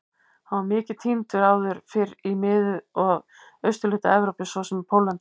Hann var mikið tíndur áður fyrr í mið- og austurhluta Evrópu svo sem í Póllandi.